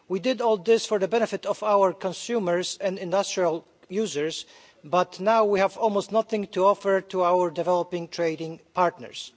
We did all this for the benefit of our consumers and industrial users, but now we have almost nothing to offer to our developing trading partners.